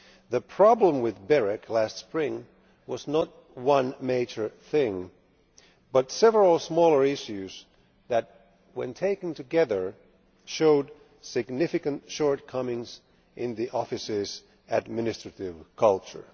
The problem with BEREC last spring was not one major thing, but several smaller issues that when taken together showed significant shortcomings in the office's administrative culture.